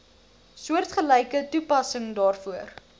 soortgelyke toepassing daarvoor